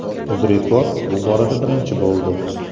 UzReport bu borada birinchi bo‘ldi.